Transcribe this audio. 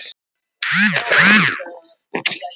Ég er að hugsa um að bregða mér líka í heimsókn á elliheimilið.